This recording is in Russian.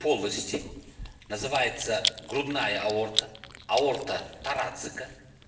полости называется грудная аорта аорта тарацика